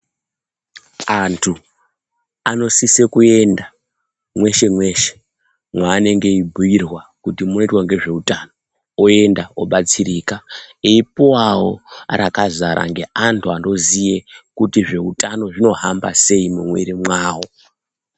Antu anosise kuenda mweshe mweshe mwaanenge achibuyirwa kuti munoitwa ngezveutano. Oenda obatsirika eipuwawo rakazara ngeantu anozive kuti zvehutano zvinohamba sei mwumwiwiri mwawo.